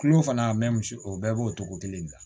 Kulo fana misi o bɛɛ b'o togo kelen de la